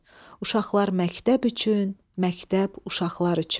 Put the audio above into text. Uşaqlar məktəb üçün, məktəb uşaqlar üçün.